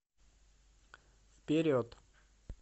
вперед